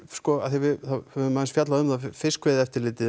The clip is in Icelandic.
við höfum aðeins fjallað um fiskveiðieftirlitið